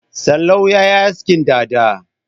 Sallau ya yi askin dada.